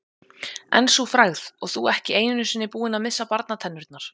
En sú frægð, og þú ekki einu sinni búinn að missa barnatennurnar.